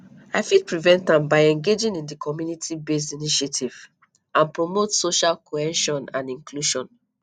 i fit prevent am by engaging in di communitybased initiatives and promote social cohesion and inclusion